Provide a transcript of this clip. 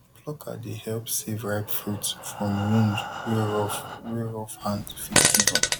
plucker dey help save ripe fruit from wound wey rough wey rough hand fit give am